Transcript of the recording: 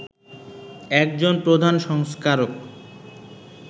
একজন প্রধান সংস্কারক